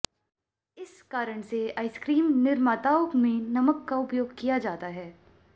इस कारण से आइसक्रीम निर्माताओं में नमक का उपयोग किया जाता है